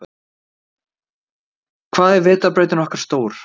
Hvað er vetrarbrautin okkar stór?